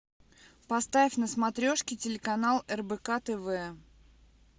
поставь на смотрешке телеканал рбк тв